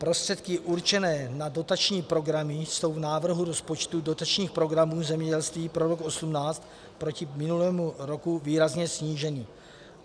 Prostředky určené na dotační programy jsou v návrhu rozpočtu dotačních programů zemědělství pro rok 2018 proti minulému roku výrazně sníženy.